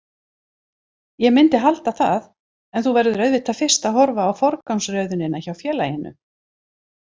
Ég myndi halda það en þú verður auðvitað fyrst að horfa á forgangsröðunina hjá félaginu.